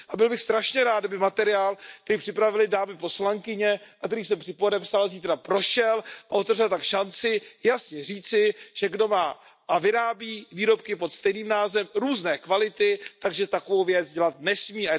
Byl bych strašně rád, kdyby materiál, který připravily dámy poslankyně a který jsem spolupodepsal, zítra prošel a otevřel tak šanci jasně říci, že kdo má a vyrábí výrobky pod stejným názvem různé kvality, takovou věc dělat nesmí.